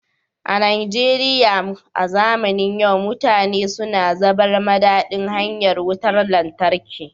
A Najeriya a zamanin yau mutane suna zabar madadin hanyar Wutar Lantarki